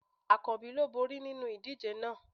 Akanbi ló bori ninu idije náà